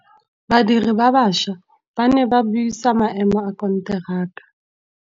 Badiri ba baša ba ne ba buisa maêmô a konteraka.